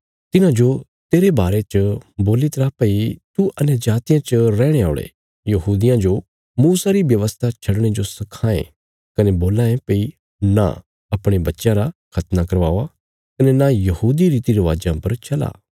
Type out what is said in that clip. तिन्हांजो तेरे बारे च बोल्ली तरा भई तू अन्यजातियां च रैहणे औल़े यहूदियां जो मूसा री व्यवस्था छडणे जो सखां ये कने बोलां ये भई नां अपणे बच्चयां रा खतना करावा कने नां यहूदी रीतिरिवाजां परा चला